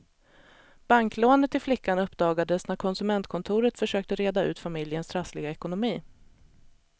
Banklånet till flickan uppdagades när konsumentkontoret försökte reda ut familjens trassliga ekonomi.